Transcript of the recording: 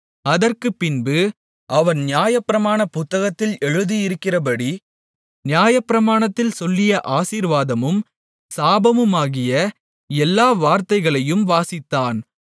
அதற்குப்பின்பு அவன் நியாயப்பிரமாண புத்தகத்தில் எழுதியிருக்கிறபடி நியாயப்பிரமாணத்தில் சொல்லிய ஆசீர்வாதமும் சாபமுமாகிய எல்லா வார்த்தைகளையும் வாசித்தான்